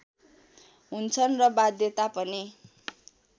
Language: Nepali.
हुन्छन् र बाध्यता पनि